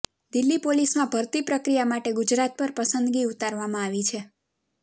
દિલ્હી પોલીસમાં ભરતી પ્રક્રિયા માટે ગુજરાત પર પસંદગી ઉતારવામાં આવી છે